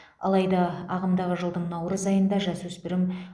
алайда ағымдағы жылдың наурыз айында жасөспірім